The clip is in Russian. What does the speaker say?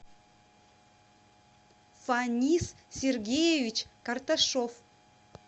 фанис сергеевич карташов